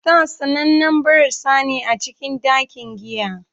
Star sanannen barasa ne a cikin dakin giya.